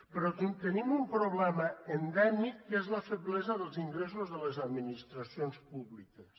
però tenim un problema endèmic que és la feblesa dels ingressos de les administracions públiques